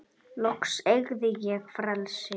Loksins eygði ég frelsi.